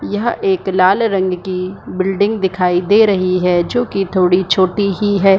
यह एक लाल रंग कि बिल्डिंग दिखाई दे रही है जोकि थोड़ी छोटी ही है ।